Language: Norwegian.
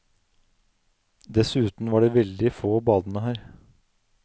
Dessuten var det veldig få badende her.